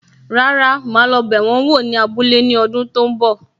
Rárá, ma lo bẹ wọn wò ní abúlé ní ọdún tó ń bọ̀.